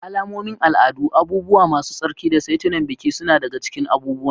Alamomin al'adu, abubuwa masu tsarki, da saitunan biki suna daga cikin abubuwan.